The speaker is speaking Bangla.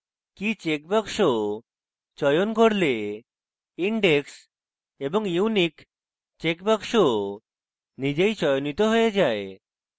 key checkbox চয়ন করলে index এবং unique checkbox নিজেই চয়নিত হয়ে যায়